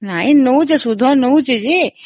ନା ନେଉଛି ସୁଧ ଯେ